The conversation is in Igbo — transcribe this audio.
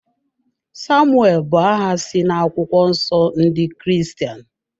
Samuel bụ aha si na akwụkwọ nsọ ndị Kiristian